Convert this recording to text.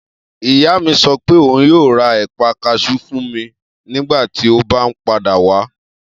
Iya mi sọ pe oun yoo ra épa kajú fun mi nigbati o ba n pada wa.